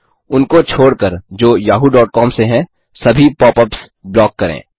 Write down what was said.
उनको छोड़कर जो yahooकॉम से हैं सभी पॉपअप्स ब्लॉक करें